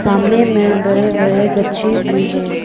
सामने में बड़े बड़े गच्छे भी है।